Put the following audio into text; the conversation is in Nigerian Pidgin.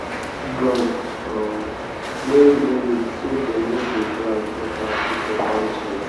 cut branch um wey no need so dem no go drag water with your farm trees.